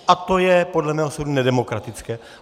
A to je podle mého soudu nedemokratické.